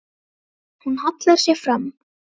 Hún hallar sér fram.